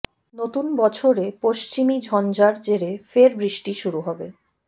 নতুন বছরে পশ্চিমী ঝঞ্ঝার জেরে ফের বৃষ্টি শুরু হবে